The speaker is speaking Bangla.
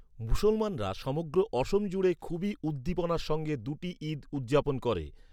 মুসলমানরা সমগ্র অসম জুড়ে খুবই উদ্দীপনার সঙ্গে দুটি ঈদ উদযাপন করে।